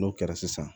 N'o kɛra sisan